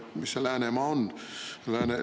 Mis see Läänemaa on?